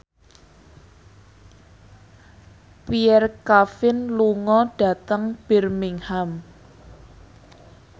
Pierre Coffin lunga dhateng Birmingham